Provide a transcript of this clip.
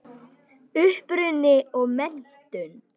Uppruni og menntun